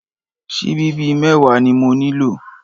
Síbí bíi mẹ́wàá ni mo nílò?